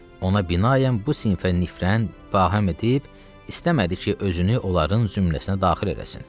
Ona binaən bu sinfə nifrən fahem edib istəmədi ki, özünü onların zümrəsinə daxil eləsin.